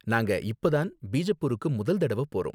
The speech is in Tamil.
நாங்க இப்ப தான் பிஜப்பூருக்கு முதல் தடவ போறோம்.